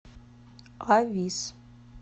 авис